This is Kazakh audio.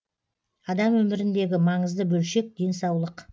адам өміріндегі маңызды бөлшек денсаулық